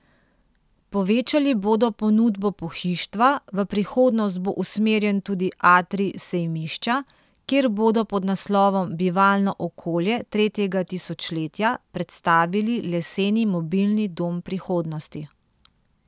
Povečali bodo ponudbo pohištva, v prihodnost bo usmerjen tudi atrij sejmišča, kjer bodo pod naslovom Bivalno okolje tretjega tisočletja predstavili leseni mobilni dom prihodnosti.